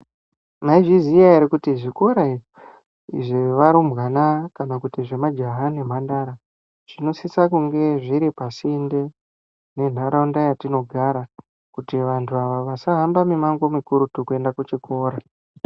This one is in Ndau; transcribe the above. Mwaizviziya ere kuti zvikora zvevarubwana kana kuti zvemajaha nemhandara zvinosise kunge zviri pasinde nenharaunda yatinogara kuti vanhu ava vasahamba mumango mikurutu kuenda kuchikora.